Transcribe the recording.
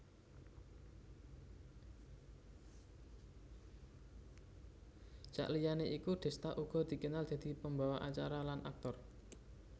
Saliyané iku Desta uga dikenal dadi pembawa acara lan aktor